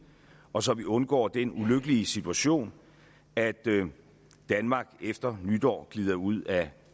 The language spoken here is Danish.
og så vi undgår den ulykkelige situation at danmark efter nytår glider ud af